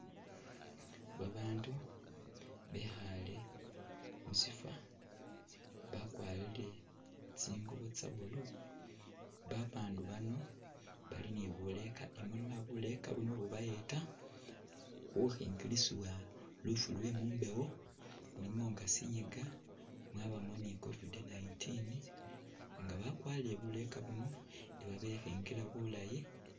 Babaandu bekhaale musyifwo bakwarire tsingubo tsa blue. Babaandu bano bali ni buleeka i'munwa, buleeka buno bubayeta khukhingilisibwa lufu lwe mumbewo nga sinyiga, mwabamo ni covid 19 nga bakwarire buleeka buno iba bekhingile bulaayi.